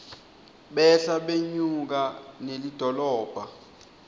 behla benyuka nelidolobha